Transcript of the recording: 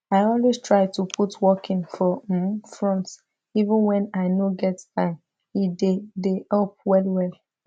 i always try to put walking for um front even when i no get time e dey dey help well well